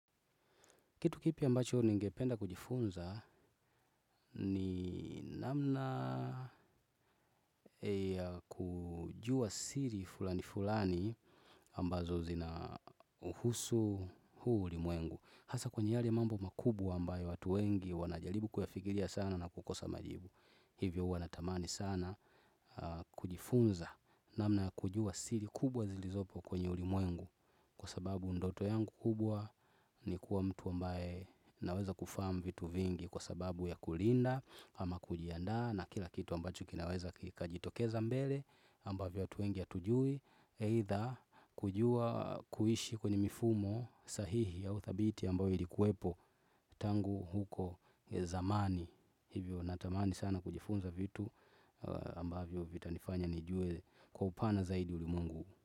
Kitu kipya ambacho ningependa kujifunza ni namna ya kujua siri fulani fulani ambazo zina husu huu ulimwengu. Hasa kwenye hali mambo makubwa ambayo watu wengi wanajalibu kuyafikiria sana na kukosa majibu. Hivyo wanatamani sana kujifunza namna ya kujua siri kubwa zilizopo kwenye ulimwengu. Kwa sababu ndoto yangu kubwa ni kuwa mtu ambaye naweza kufaamu vitu vingi kwa sababu ya kulinda ama kujianda na kila kitu ambacho kinaweza kajitokeza mbele ambavyo watuengi atujui eitha kujua kuishi kwenye mifumo sahihi ya uthabiti ambayo ilikuwepo tangu huko zamani hivyo natamani sana kujifunza vitu ambavyo vitanifanya nijue kwa upana zaidi ulimwengu.